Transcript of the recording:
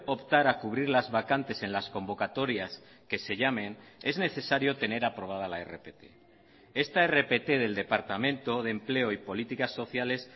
optar a cubrir las vacantes en las convocatorias que se llamen es necesario tener aprobada la rpt esta rpt del departamento de empleo y políticas sociales